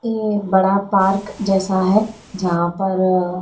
ये बड़ा पार्क जैसा हैं जहाँ पर--